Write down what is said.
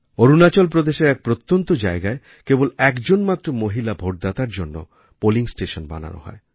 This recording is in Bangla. অরুণাচল প্রদেশের এক প্রত্যন্ত জায়গায় কেবল একজন মাত্র মহিলা ভোটদাতার জন্য পোলিং স্টেশন বানানো হয়